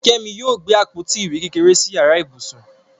Kẹ́mi yóò gbé àpótí ìwé kékeré sí yàrá ibùsùn.